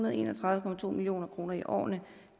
og en og tredive million kroner i årene